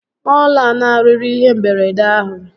Ọ lanarịrị ihe mberede ahụ?